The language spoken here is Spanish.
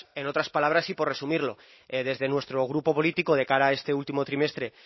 en otras palabras y por resumirlo desde nuestro grupo político de cara a este último trimestre